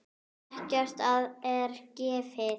Ekkert er gefið.